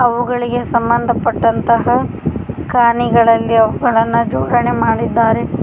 ಅವುಗಳಿಗೆ ಸಂಬಂಧಪಟ್ಟಂತಹ ಕಾಣಿಗಳಲ್ಲಿ ಅವುಗಳನ್ನು ಜೋಡಣೆ ಮಾಡಿದ್ದಾರೆ.